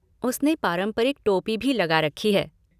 उसने पारंपरिक टोपी भी लगा रखी है।